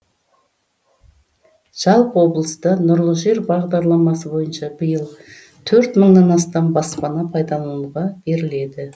жалпы облыста нұрлы жер бағдарламасы бойынша биыл төрт мыңнан астам баспана пайдалануға беріледі